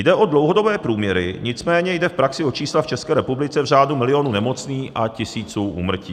Jde o dlouhodobé průměry, nicméně jde v praxi o čísla v České republice v řádu milionu nemocných a tisíců úmrtí.